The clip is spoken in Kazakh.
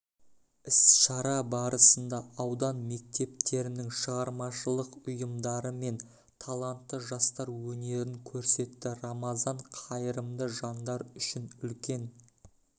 іс-шара барысында аудан мектептерінің шығармашылық ұйымдары мен талантты жастар өнерін көрсетті рамазан қайырымды жандар үшін үлкен